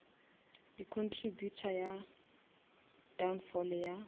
di contributa go downfall ya